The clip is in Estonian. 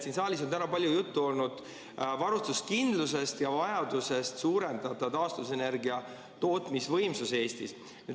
Siin saalis on täna palju juttu olnud varustuskindlusest ja vajadusest suurendada taastuvenergia tootmisvõimsusi Eestis.